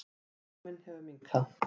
Bláminn hefur minnkað.